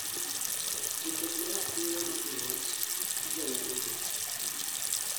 Joked ne ratiro nopingo wach jonyuolgo